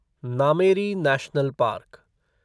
Nameri national park